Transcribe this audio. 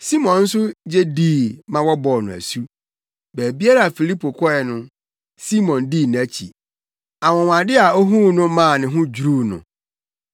Simon nso gye dii ma wɔbɔɔ no asu. Baabiara a Filipo kɔe no, Simon dii nʼakyi. Anwonwade a ohuu no maa ne ho dwiriw no.